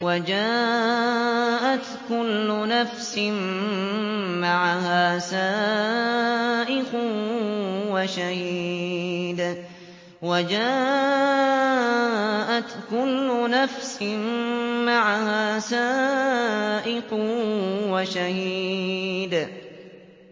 وَجَاءَتْ كُلُّ نَفْسٍ مَّعَهَا سَائِقٌ وَشَهِيدٌ